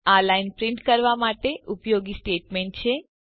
આ line print કરવા માટે ઉપયોગી સ્ટેટમેન્ટ છે